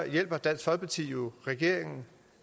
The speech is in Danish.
hjælper dansk folkeparti jo regeringen